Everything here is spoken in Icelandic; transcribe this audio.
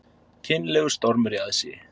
Kynlegur stormur í aðsigi